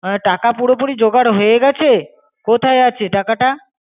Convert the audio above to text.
টাকা পুরোপুরি জোগাড় হয়ে গেছে? কোথায় আছে টাকাটা?